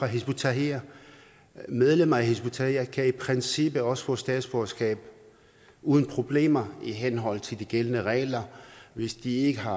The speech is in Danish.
hizb ut tahrir medlemmer af hizb ut tahrir kan i princippet også få statsborgerskab uden problemer i henhold til de gældende regler hvis de ikke har